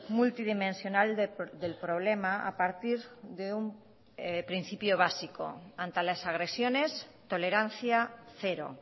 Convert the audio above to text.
multidimensional del problema a partir de un principio básico ante las agresiones tolerancia cero